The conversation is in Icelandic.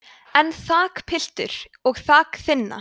en þakpiltur og þak þynna